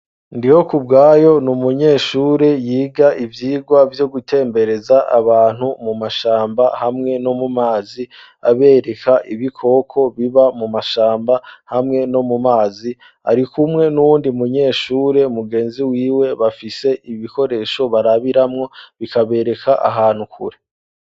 Ndihokubwayo n'umunyeshure yiga ivyigwa vyo gutembereza abantu mu mashamba hamwe no mu mazi abereka ibikoko biba mu mashamba hamwe no mu mazi arikumwe n'undi munyeshure mu genzi wiwe bafise ibikoresho barabiramwo bikabereka ahantu kure.